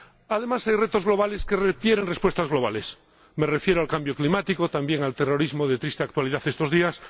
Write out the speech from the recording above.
Además, hay retos globales que requieren respuestas globales. Me refiero al cambio climático y también al terrorismo, de triste actualidad en estos días.